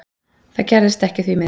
Það gerðist ekki því miður.